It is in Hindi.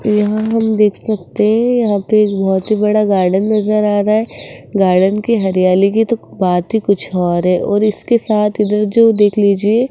यहां हम देख सकते यहां पे एक बहोत ही बड़ा गार्डन नजर आ रहा है गार्डन की हरियाली की तो बात ही कुछ और है और इसके साथ इधर जो देख लीजिए --